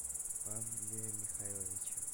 павле михайловиче